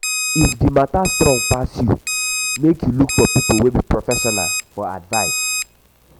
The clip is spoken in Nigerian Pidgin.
if di mata strong pass yu mek yu look for pipo wey be professional for advice